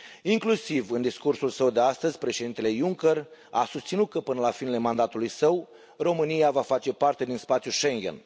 Inclusiv în discursul său de astăzi, președintele Juncker a susținut că, până la finele mandatului său, România va face parte din spațiul Schengen.